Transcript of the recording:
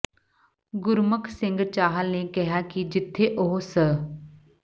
ਗੁਰਮੁਖ ਸਿੰਘ ਚਾਹਲ ਨੇ ਕਿਹਾ ਕਿ ਜਿੱਥੇ ਉਹ ਸ